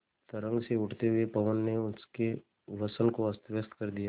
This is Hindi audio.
तरंग से उठते हुए पवन ने उनके वसन को अस्तव्यस्त कर दिया